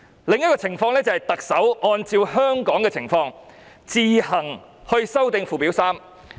另一種情況就是特首按照香港的情況，自行修訂附表3。